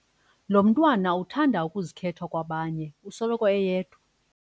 Lo mntwana uthanda ukuzikhetha kwabanye usoloko eyedwa.